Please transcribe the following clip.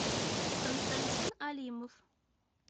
константин алимов